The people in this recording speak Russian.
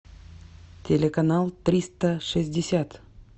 телеканал триста шестьдесят